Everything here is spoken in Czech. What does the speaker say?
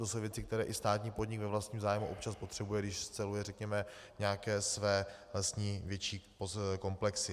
To jsou věci, které i státní podnik ve vlastním zájmu občas potřebuje, když sceluje, řekněme, nějaké své větší lesní komplexy.